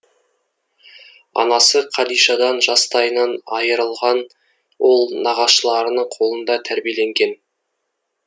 анасы қадишадан жастайынан айырылған ол нағашыларының қолында тәрбиеленген